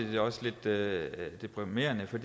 det også lidt deprimerende for